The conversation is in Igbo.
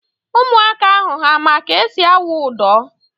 Ụmụaka ahụ ha ma ka esi awụ ụdọ?